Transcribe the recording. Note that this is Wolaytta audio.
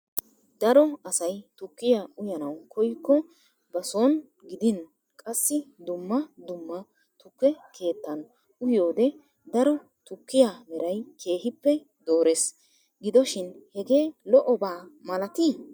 Daro asay tukkiya uyyanaw koyklo ba soon gidin qassi dumma dumma tuke keettan uyyiyoode daro tukkiya meray keehippe doores. Gidoshin hegee lo"obaa malati?